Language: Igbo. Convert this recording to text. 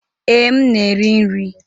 Ee, m na-eri nri.